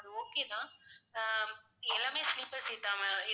okay தான் ஆஹ் எல்லாமே sleeper seat ஆ ma'am